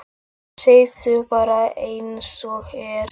Segðu bara einsog er.